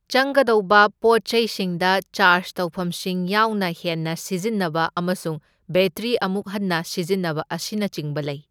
ꯆꯪꯒꯗꯧꯕ ꯄꯣꯠꯆꯩꯁꯤꯡꯗ ꯆꯥꯔꯖ ꯇꯧꯐꯝꯁꯤꯡ ꯌꯥꯎꯅ ꯍꯦꯟꯅ ꯁꯤꯖꯟꯅꯕ ꯑꯃꯁꯨꯡ ꯕꯦꯇ꯭ꯔꯤ ꯑꯃꯨꯛ ꯍꯟꯅ ꯁꯤꯖꯟꯅꯕ ꯑꯁꯤꯅꯆꯤꯡꯕ ꯂꯩ꯫